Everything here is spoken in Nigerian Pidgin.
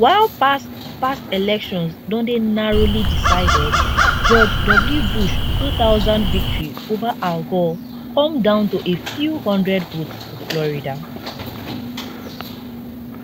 while past past elections don dey narrowly decided george w bush 2000 victory ova al gore come down to a few hundred votes for florida